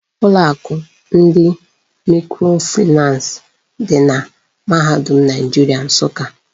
Ụlọ akụ ndị mikrofinans di na mahadum Naijiria Nsụka.